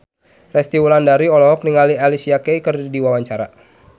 Resty Wulandari olohok ningali Alicia Keys keur diwawancara